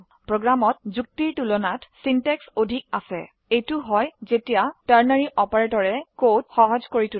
প্ৰোগ্ৰামত যুক্তিৰ তুলাত সিনট্যাক্স অধিক আছে এইটো হয় যেতিয়া টাৰ্নাৰী অপাৰেটৰে কোড সহজ কৰি তোলে